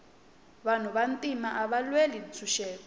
vanhu va ntima ava lwela ntshuxeko